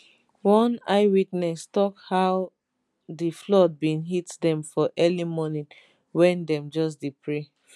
one eyewitness tok how di flood bin hit dem for early morning wen dem just pray finish